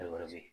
Alige